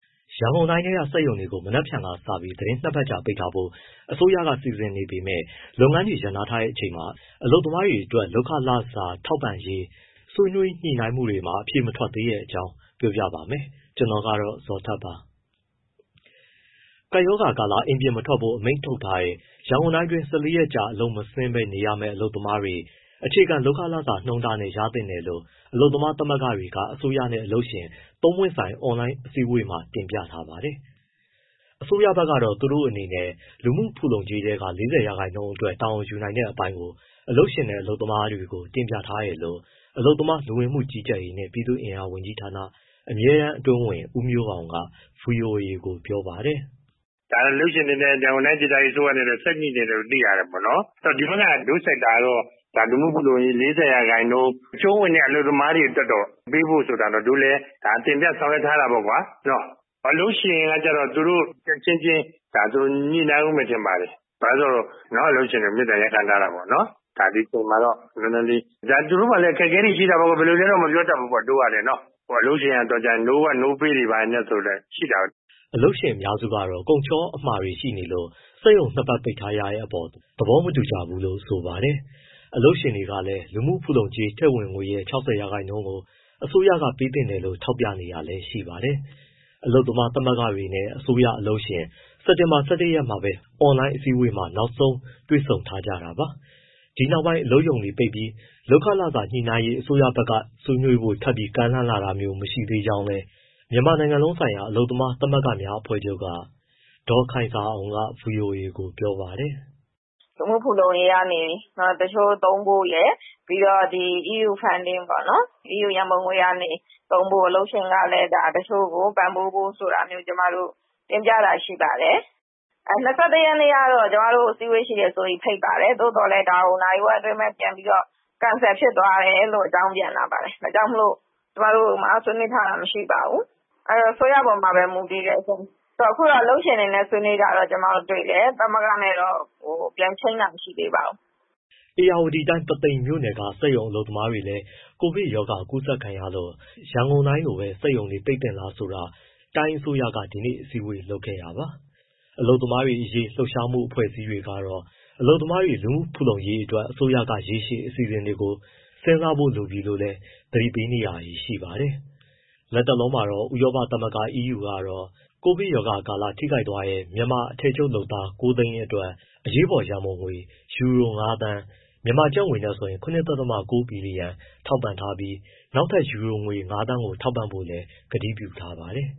ရန်ကုန်တိုင်းက စက်ရုံတွေကို မနက်ဖြန်ကစပြီး သီတင်း ၂ ပတ်ကြာ ပိတ်ထားမယ်ဖို့ အစိုးရက စီစဉ်ထားပေမဲ့ လုပ်ငန်းတွေ ရပ်နားထားချိန်မှာ အလုပ်သမားတွေရဲ့ လစာကို ဘယ်လိုပေးမလဲဆိုတဲ့ ညှိနှိုင်းမှုတွေ အဖြေမထွက်သေးတဲ့အကြောင်း ပြောပြမှာပါ။ ဗွီအိုအေမြန်မာပိုင်းသတင်းထောက် ကိုဇော်ထက်ကပြောပြပေးပါမယ်။ ၁၄ရက် တာကာလ အလုပ်မဆင်းပဲနေရမဲ့ အလုပ်သမားတွေ အခြေခံလုပ်ခလစာနှုန်းတားနဲ့ ရင်သင့်တယ်လို့ အလုပ်သမားသမဂ္ဂတွေက အစိုးရနဲ့ အလုပ်ရှင်တွေနဲ့ သုံးပွင့်ဆိုင် အွန်လိုင်းအစည်းအဝေးမှာ တင်ပြခဲ့တာပါ။ အစိုးရဘက်ကတော့ သူတို့အနေနဲ့ လူမှုဖူလုံကြေးထဲက ၄၀ ရာခိုင်နှုန်းအတွက် တာဝန်ယူနိုင်တဲ့အပိုင်းကို အလုပ်ရှင်နဲ့ အလုပ်သမားတွေကို တင်ပြထားတယ်လို့ အလုပ်သမား၊ လူဝင်မှုကြီးကြပ်ရေးနှင့် ပြည်သူ့အင်အား ဝန်ကြီးဌာန အမြဲတမ်းအတွင်းဝန် ဦးမျိုးအောင်က ဗွီအိုအေကို ပြောပါတယ်။ “ဒါတော့ အလုပ်ရှင်နဲ့ ရန်ကုန်တိုင်းအစိုးရ ဆက်ညှိနေတယ်လို့ သိရတယ်၊ ဒီဘက်က တို့ sector ကတော့ လူမှုဖူလုံကြေး ၄၀ ရာခိုင်နှုန်း အကျုံးဝင်တဲ့ အလုပ်သမားတွေအတွက်တော့ ပေးဖို့ဆိုတာကတော့တို့လည်း တင်ပြ၊ ဆောင်ရွက်ထားတာပေါ့ကွာ။ အလုပ်ရှင်ကတော့ သူတို့အချင်းချင်း ညှိနှိုင်းဦးမယ် ထင်ပါတယ်။ အလုပ်ရှင်တွေကို မေတ္တာရပ်ခံထားတာပေါ့၊ ဒီအချိန်မှာတော့ နည်းနည်းလေး၊ ဒါ သူတို့မှာလည်း အခက်အခဲတွေရှိတာပေါ့ ဘယ်လိုလဲတော့ မပြောတတ်ပေါ့ တို့ကလည်း။ အလုပ်ရှင်က no work, no pay တွေလည်း ရှိတာပဲ။” အလုပ်ရှင်အများစုကတော့ ကုန်ချောအမှာတွေ ရှိနေလို့ စက်ရုံ ၂ ပတ် ပိတ်ထားရတဲ့အပေါ်သဘောမတူကြပါဘူးလို့ ဆိုပါတယ်။ အလုပ်ရှင်တွေကလည်း လူမှုဖူလုံကြေးထည့်ဝင်ငွေရဲ့ ၆၀ ရာခိုင်နှုန်းကို အစိုးရက ပေးသင့်တယ်လို့ ထောက်ပြနေတာလည်း ရှိပါတယ်။ အလုပ်သမားသမဂ္ဂတွေနဲ့ အစိုးရ၊ အလုပ်ရှင် စက်တင်ဘာ ၁၁ ရက်မှာပဲ အွန်လိုင်းအစည်းအဝေးမှာ နောက်ဆုံးတွေ့ဆုံထားကြတာပါ။ ဒီနောက်ပိုင်း အလုပ်ရုံတွေပိတ်ပြီး လုပ်ခလစာညှိနှိုင်းရေး အစိုးရဘက်က ဆွေးနွေးဖို့ထပ်ကမ်းလှမ်းလာတာမျိုး မရှိသေးသေးကြောင်း မြန်မာနိုင်ငံလုံးဆိုင်ရာ အလုပ်သမားသမဂ္ဂများအဖွဲ့ချုပ်က ဒေါ်ခိုင်ဇာအောင်က ဗွီအိုအေကို ပြောပါတယ်။ “လူမှုဖူလုံရေးကနေ တချို့သုံးဖို့ရယ် ပြီးတော့ EU funding ပေါ့နော်။ အီးယူရန်ပုံငွေကနေ သုံးဖို့၊ အလုပ်ရှင်ကလည်း တချို့ကို ပံ့ပိုးဖို့ဆိုတာတွေ ကျမတို့ တင်ပြတာရှိပါတယ်။ ၂၁ ရက်ကတော့ ကျမတို့ကို အစည်းအဝေးရှိတယ်ဆိုပြီး ဖိတ်ပါတယ်။ သို့သော်ဒါကို နာရီဝက်အတွင်းပဲ ပြန်ပြီးတော့ cancel ဖြစ်သွားတယ်ဆိုပြီး အကြောင်းပြန်လာပါတယ်၊ ဒါကြောင့်မို့ ကျမတို့မှာ ဆွေးနွေးထားတာ မရှိပါဘူး၊ အဲဒီတော့ အစိုးရအပေါ်မှာပဲ မူတည်တယ်ရှင့်။ အခုတော့ အလုပ်ရှင်တွေနဲ့ ဆွေးနွေးတာတော့ ကျမတို့တွေ့တယ်၊ သမဂ္ဂနဲ့တော့ ပြန်ချိန်းတာ မရှိသေးပါဘူး။” ဧရာဝတီတိုင်း ပုသိမ်မြို့နယ်က စက်ရုံအလုပ်သမားတွေလည်း ကိုဗစ်ရောဂါကူးစက်ခံရလို့ ရန်ကုန်တိုင်းလိုပဲ စက်ရုံတွေ ပိတ်သင့်လားဆိုတာ တိုင်းအစိုးရက ဒီနေ့ အစည်းအဝေးလုပ်ခဲ့တာပါ။ အလုပ်သမားရေး လှုပ်ရှားမှု အဖွဲ့အစည်းတွေကတော့ အလုပ်သမားတွေ လူမှုဖူလုံရေးအတွက် အစိုးရက ရေရှည်အစီအစဉ်တွေကို စဉ်းစားဖို့ လိုအပ်နေပြီလို့လည်း သတိပေးနေကြပါတယ်။ လတ်တလောမှာတော့ ဥရောပသမဂ္ဂ EU ကတော့ ကိုဗစ်ကပ်ရောဂါကာလ ထိခိုက်သွားတဲ့ မြန်မာ အထည်ချုပ်လုပ်သား ၉၀၀,၀၀၀ အတွက် အရေးပေါ်ရန်ပုံငွေ ယူရို ၅,၀၀၀,၀၀၀ (ကျပ်ငွေ ၇.၉ ဘီလီယံ) ထောက်ပံ့ထားပြီး နောက်ထပ် ယူရို ၅,၀၀၀,၀၀၀ ပေးဖို့လည်း ကတိပြုထားပါတယ်